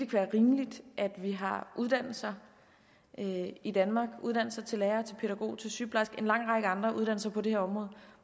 være rimeligt at vi har uddannelser i danmark uddannelse til lærer pædagog sygeplejerske og en lang række andre uddannelser på det her område